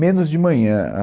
Menos de manhã. A